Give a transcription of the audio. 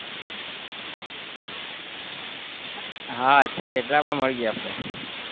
હા અચ્છા ખેતલાઆપા મળીએ આપણે